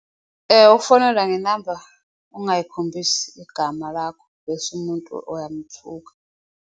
Ukufonelwa ngenamba ungayikhombisi igama lakho, bese umuntu uyamthuka.